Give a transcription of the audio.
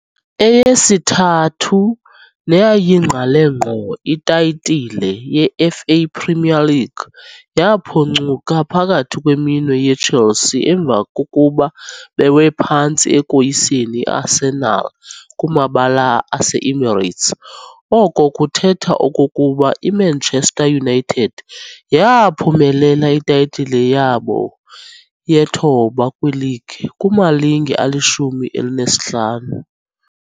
Eyesithathu neyayingqale ngqo itayitile yeFA Premier League yaphoncuka phakathi kweminwe yeChelsea emva kokuba bewe phantsi ekoyiseni i-Arsenal kumabala aseEmirates oko kuthetha okokuba iManchester United yaaphumelela itayitile yabo ye-thoba kwileague kumalinge alishumi alinesihlanu.